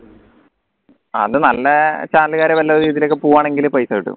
അത് നല്ല channel ക്കാര് നല്ല രീതിൽ ഒക്കെ പൂവാണെങ്കി പൈസ കിട്ടും